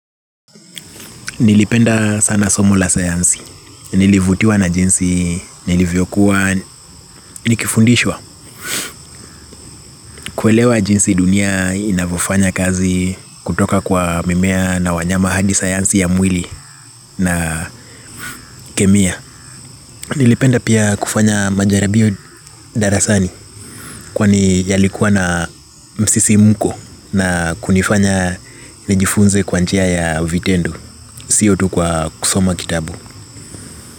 Nilipenda sana somo la sayansi, nilivutiwa na jinsi, nilivyokuwa, nikifundishwa, kuelewa jinsi dunia inavofanya kazi kutoka kwa mimea na wanyama hadi sayansi ya mwili na kemia. Nilipenda pia kufanya majaribio darasani, kwani yalikuwa na msisimko na kunifanya nijifunze kwa njia ya vitendo, sio tu kwa kusoma kitabu.